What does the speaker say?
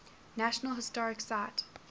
national historic site